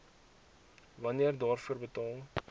wanneer daarvoor betaal